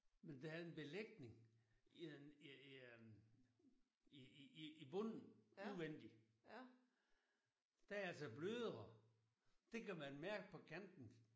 Men der er en belægning i en i i øh i i i i bunden udvendig. Den er altså blødere. Det kan man mærke på kanten